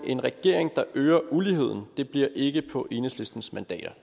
en regering der øger uligheden det bliver ikke på enhedslistens mandater